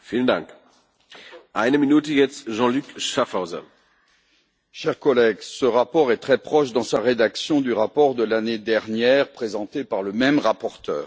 Monsieur le Président, chers collègues, ce rapport est très proche, dans sa rédaction, du rapport de l'année dernière, présenté par le même rapporteur.